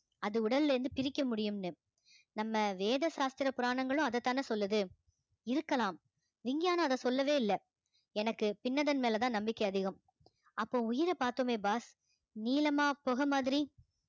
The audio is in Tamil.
அது உடல்ல இருந்து பிரிக்க முடியும்ன்னு நம்ம வேத சாஸ்திர புராணங்களும் அதைத்தானே சொல்லுது இருக்கலாம் விஞ்ஞானம் அதை சொல்லவே இல்லை எனக்கு பின்னதன் மேலேதான் நம்பிக்கை அதிகம் அப்போ உயிரை பார்த்தோமே boss நீளமா புகை மாதிரி